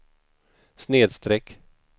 snedsträck